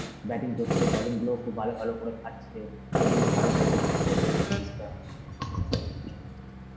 batting করছে, bowling গুলোউ খুব ভালো ভালো করে খাটছে ওই জন্য ভারত তাইতো জিততে পেরেছে series টা.